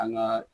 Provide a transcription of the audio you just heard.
An ga